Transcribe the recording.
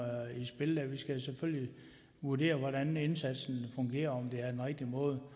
i spil der vi skal selvfølgelig vurdere hvordan indsatsen fungerer og om det er den rigtige måde